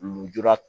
Lujura